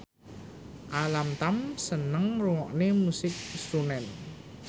Alam Tam seneng ngrungokne musik srunen